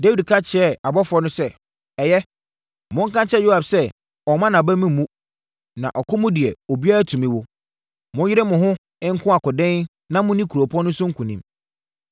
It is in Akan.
Dawid ka kyerɛɛ abɔfoɔ no sɛ, “Ɛyɛ, Monka nkyerɛ Yoab sɛ ɔmmma nʼaba mu mmu, na ɔko mu deɛ obiara tumi wu. Monyere mo ho nko ɔkoden na monni kuropɔn no so nkonim.”